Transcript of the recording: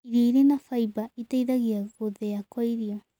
Irio ĩrĩ na faĩba ĩteĩthagĩa gũthĩa kwa irio